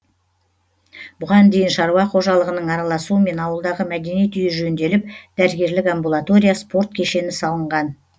бұған дейін шаруа қожалығының араласуымен ауылдағы мәдениет үйі жөнделіп дәрігерлік амбулатория спорт кешені салынған